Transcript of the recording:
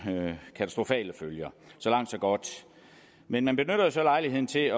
katastrofale følger så langt så godt men man benytter jo så lejligheden til at